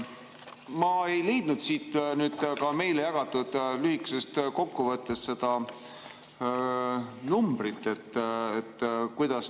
Ma ei leidnud siit meile jagatud lühikesest kokkuvõttest seda numbrit.